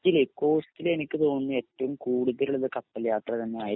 costly costly എനിക്ക് തോന്നുന്നു ഏറ്റവും കൂടുതൽ ഉള്ളത് കപ്പൽയാത്ര തന്നെയായിരിക്കും